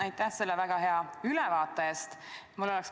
Aitäh selle väga hea ülevaate eest!